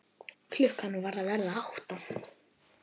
Klukkan var að verða átta.